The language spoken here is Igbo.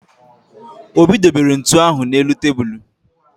Obi dobere ntu ahụ n'elu tebulu